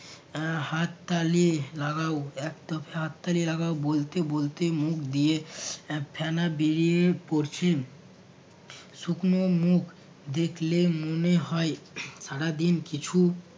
এর হাত তালি লাগাও এক দফে হাত তালি লাগাও বলতে বলতে মুখ দিয়ে এর ফেনা বেরিয়ে পড়ছে। শুকনো মুখ দেখলে মনে হয় সারাদিন কিছু